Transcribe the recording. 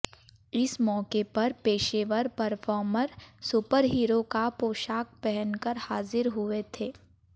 इस मौके पर पेशेवर परर्फोमर सुपरहीरो का पोशाक पहन कर हाजिर हुए थे